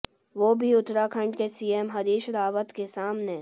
वो भी उत्तराखंड के सीएम हरीश रावत के सामने